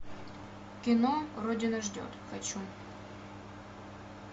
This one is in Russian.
кино родина ждет хочу